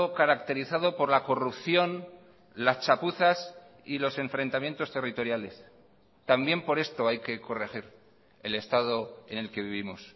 caracterizado por la corrupción las chapuzas y los enfrentamientos territoriales también por esto hay que corregir el estado en el que vivimos